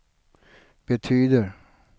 betyder